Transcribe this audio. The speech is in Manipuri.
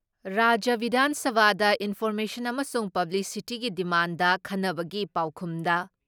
ꯔꯥꯖ꯭ꯌ ꯕꯤꯙꯥꯟ ꯁꯚꯥꯗ ꯏꯟꯐꯣꯔꯃꯦꯁꯟ ꯑꯃꯁꯨꯡ ꯄꯥꯕ꯭ꯂꯤꯁꯤꯇꯤꯒꯤ ꯗꯤꯃꯥꯟꯗ ꯈꯟꯅꯕꯒꯤ ꯄꯥꯎꯈꯨꯝꯗ